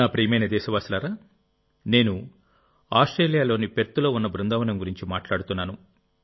నా ప్రియమైన దేశవాసులారా నేను ఆస్ట్రేలియాలోని పెర్త్లో ఉన్న బృందావనం గురించి మాట్లాడుతున్నాను